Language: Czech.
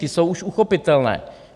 Ty jsou už uchopitelné.